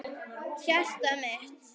Hjartað mitt